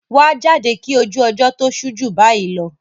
wà á jáde kí ojú ọjọ́ tó ṣú jù bayi lọ!